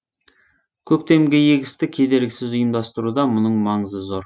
көктемгі егісті кедергісіз ұйымдастыруда мұның маңызы зор